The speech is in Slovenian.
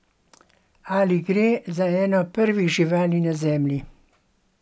Ali gre za eno prvih živali na Zemlji?